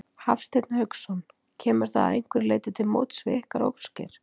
Hafsteinn Hauksson: Kemur það að einhverju leyti til móts við ykkar óskir?